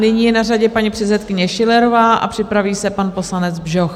Nyní je na řadě paní předsedkyně Schillerová a připraví se pan poslanec Bžoch.